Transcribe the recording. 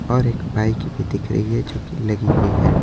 और एक बाइक भी दिख रही है जो कि लगी हुई है।